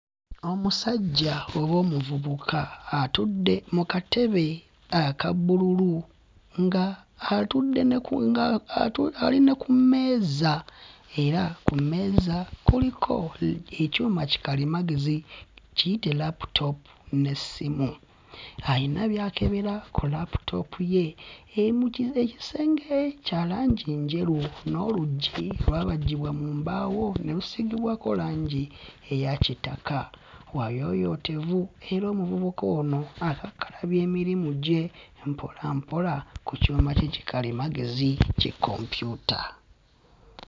Omusajja oba omuvubuka atudde mu katebe aka bbululu nga atudde ne ku nga atu ali na ku meeza era ku meeza kuliko ekyuma kikalimagezi kiyite laputoopu n'essimu. Ayina by'akebera ku laputoopu ye emugi, ekisenge kya langi njeru n'oluggi lwabajjibwa mu mbaawo ne lusiigibwako langi eya kigataka. Wayooyotevu era omuvubuka ono akakkalabya emirimyu gye mpolampola ku kyuma kye kikalimagezi kikompyuta.